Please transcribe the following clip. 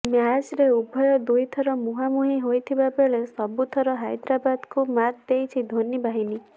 ମ୍ୟାଚ୍ରେ ଉଭୟେ ଦୁଇ ଥର ମୁହାଁମୁହିଁ ହୋଇଥିବା ବେଳେ ସବୁଥର ହା୍ଇଦ୍ରାବାଦକୁ ମାତ୍ ଦେଇଛି ଧୋନି ବାହିନୀ